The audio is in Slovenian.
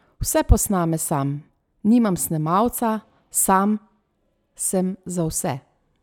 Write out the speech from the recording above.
Vse posname sam: ''Nimam snemalca, sam sem za vse.